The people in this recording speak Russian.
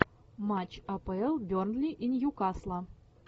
матч апл бернли и ньюкасла